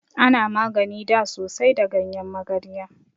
Ana magani da sosai da ganyen magarya.